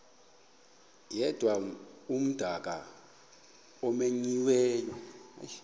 yedwa umdaka omenyiweyo